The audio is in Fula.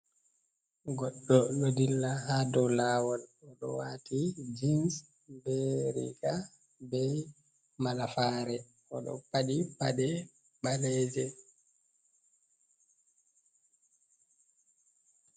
Gɗɗo ɗo dilla haa dow laawol, o ɗo waati jins, be riiga, be malafaare, o ɗo faɗi paɗe ɓaleeje.